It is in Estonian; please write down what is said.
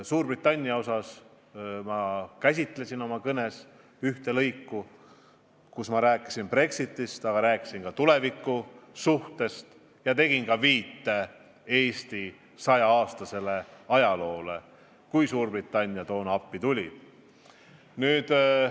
Suurbritanniat puudutas minu kõne üks lõik, kus ma rääkisin Brexitist, aga rääkisin ka tulevikusuhtest ja tegin viite Eesti saja aasta pikkusele ajaloole: Suurbritannia on meile appi tulnud.